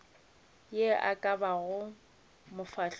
ye e ka bago mofahloši